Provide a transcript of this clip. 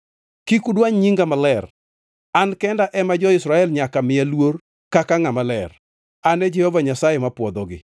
Kik udwany nyinga maler. An kenda ema jo-Israel nyaka miya luor kaka ngʼama ler. An e Jehova Nyasaye mapwodhogi,